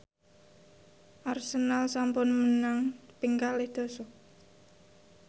Arsenal sampun menang ping kalih dasa